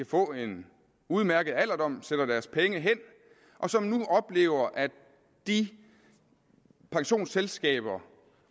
få en udmærket alderdom sætter deres penge hen og som nu oplever at de pensionsselskaber